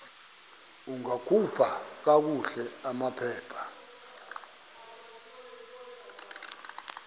ungakhupha kakuhle amaphepha